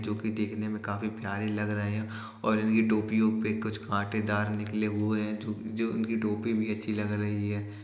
जो कि देखने में काफी प्यारे लग रहे है और इनकी टोपियों पे कुछ कांटेदार निकले हुए जो जो इनकी टोपी भी अच्छी लग रही हैं।